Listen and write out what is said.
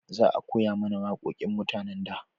Za a koya mana wawaƙoƙin mutanen da